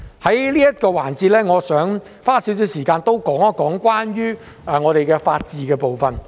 我想在這個環節多花一點時間談談關於法治的部分。